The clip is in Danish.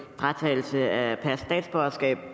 fratagelse af statsborgerskab